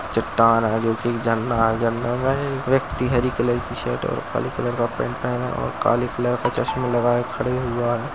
चट्टान है जो कि झरना है झरने में एक व्यक्ति हरी कलर की शर्ट और काले कलर का पेन्ट पहना और काले कलर का चश्मा लगाए खड़े हुआ है।